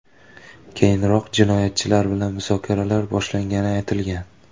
Keyinroq jinoyatchilar bilan muzokaralar boshlangani aytilgan.